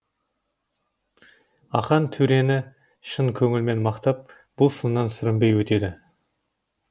ақан төрені шын көңілімен мақтап бұл сыннан сүрінбей өтеді